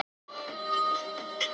Fyrsta snertingin gaf fyrirheit